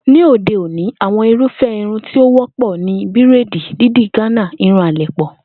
Ní òde òní àwo̩n irúfé̩ irun tí ó wó̩pò̩ ni bíréèdì, dídì Gánà, irun àlè̩pò̩